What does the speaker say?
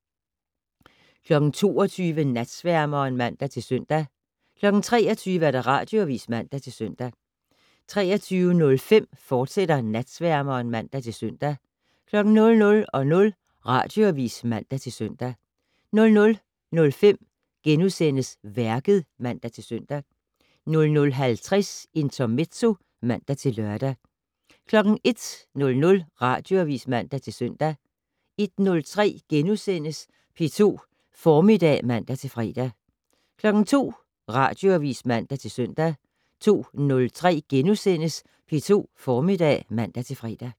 22:00: Natsværmeren (man-søn) 23:00: Radioavis (man-søn) 23:05: Natsværmeren, fortsat (man-søn) 00:00: Radioavis (man-søn) 00:05: Værket *(man-søn) 00:50: Intermezzo (man-lør) 01:00: Radioavis (man-søn) 01:03: P2 Formiddag *(man-fre) 02:00: Radioavis (man-søn) 02:03: P2 Formiddag *(man-fre)